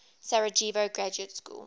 sarajevo graduate school